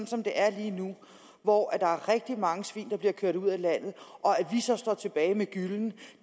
som det er lige nu hvor der er rigtig mange svin der bliver kørt ud af landet og vi så står tilbage med gyllen